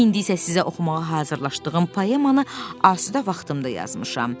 İndi isə sizə oxumağa hazırlaşdığım poemanı asudə vaxtımda yazmışam.